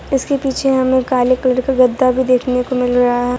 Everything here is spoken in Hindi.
इसके पीछे हमें काले कलर का गद्दा भी देखने को मिल रहा --